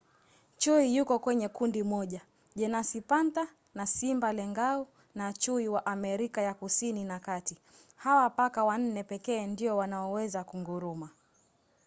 chui yuko kwenye kundi moja jenasi panther na simba lengau na chui wa america ya kusini na kati. hawa paka wanne pekee ndio wanaoweza kunguruma